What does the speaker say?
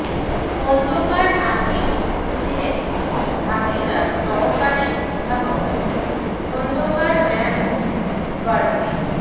খোন্দকার নাসির উদ্দিনের ভাতিজা সহকারী অধ্যাপক খোন্দকার মাহমুদ পারভেজ